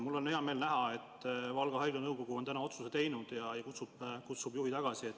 Mul on hea meel, et Valga Haigla nõukogu on täna otsuse teinud ja kutsub juhi tagasi.